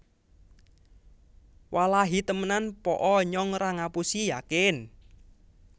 Wallahi temenan Po o nyong ra ngapusi yakin